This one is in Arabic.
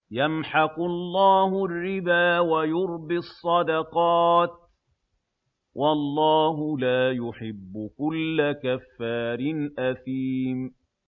يَمْحَقُ اللَّهُ الرِّبَا وَيُرْبِي الصَّدَقَاتِ ۗ وَاللَّهُ لَا يُحِبُّ كُلَّ كَفَّارٍ أَثِيمٍ